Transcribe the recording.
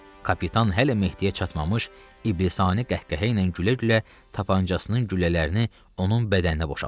Kapitan hələ Mehdiyə çatmamış, iblisani qəhqəhə ilə gülə-gülə tapançasının güllələrini onun bədəninə boşaltdı.